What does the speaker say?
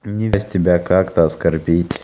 не даст тебя как-то оскорбить